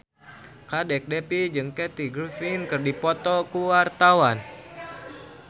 Kadek Devi jeung Kathy Griffin keur dipoto ku wartawan